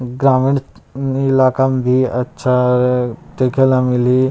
ग्रामीण इलाका म भी अच्छा देखे ला मिलहि--